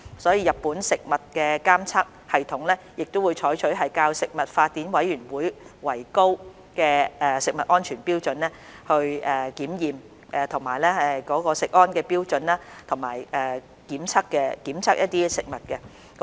所以，日本食物的監測系統會採取較國際食品法典委員會所訂的食物安全標準為高的食安標準來檢驗食物。